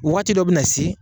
Wagati dɔ bi na se